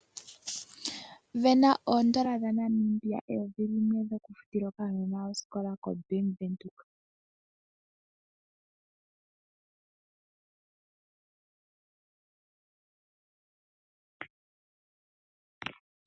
Vena oondola eyovi limwe dhaNamibia shokufutila okanona osikola kobank Windhoek.